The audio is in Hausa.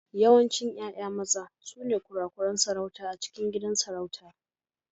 Yawancin 'ya'ya maza sune kurakuran sarauta a cikin gidan sarauta.